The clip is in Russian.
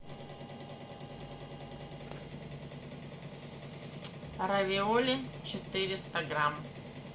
равиоли четыреста грамм